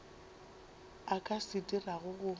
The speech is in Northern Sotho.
a ka se dirago go